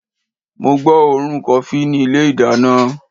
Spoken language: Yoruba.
mo gbọ́ òórùn kofí ní ilé ìdáná